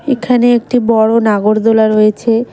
এখানে একটি বড়ো নাগরদোলা রয়েছে।